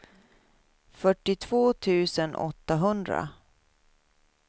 fyrtiotvå tusen åttahundra